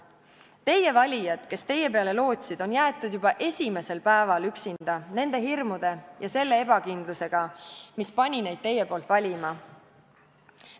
Teie valijad, kes teie peale lootsid, on jäetud juba esimesel päeva üksinda nende hirmude ja selle ebakindlusega, mis pani neid teie poolt valima.